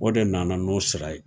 O de nana n'o sira ye